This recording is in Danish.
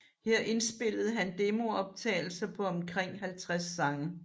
Her indspillede han demooptagelser på omkring 50 sange